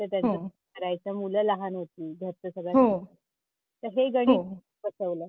तर त्यांच हो करायचं मुलं लहान होती तर हो हे गणित कस बसवलं?